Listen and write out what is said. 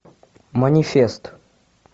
манифест